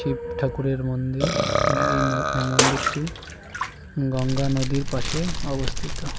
শিব ঠাকুরের মন্দির এবং এই নো এই মন্দিরটি গঙ্গা নদীর পাশে অবস্থিত।